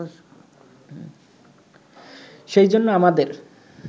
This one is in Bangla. সেই জন্য আমাদের